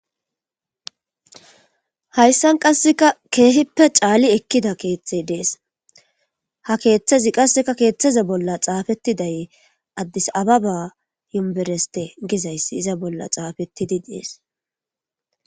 hayssan qasseka keehippe caali ekkida keeththey dees ha keeththazi qasseka keeththaza bolla xaafettidaye addis ababa yumbereste gizayssi iza bolla xaafettidi dees